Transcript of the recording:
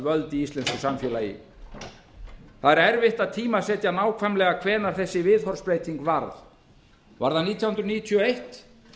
völd í íslensku samfélagi það er erfitt að tímasetja nákvæmlega hvenær þessi viðhorfsbreyting varð var það nítján hundruð níutíu og eitt